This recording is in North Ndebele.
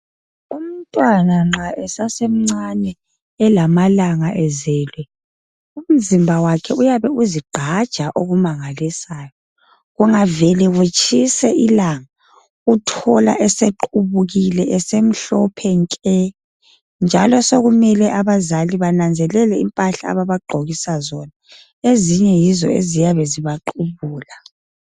Umntwana nxa esasemncane elamalanga ezelwe umzimba wakhe uyabe uzigqaja okumangalisayo. Kungavele kutshise ilanga uthola esequbukile esemhlophe nke njalo sekumele abazali bananzelele impahla ababagqokisa zona. Ezinye yizo eziyabe zibaqubula.